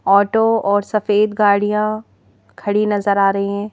Auto और सफेद गाड़ियां खड़ी नजर आ रही हैं।